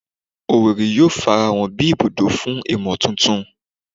Owerri yoo farahan bi ibudo fun imotuntun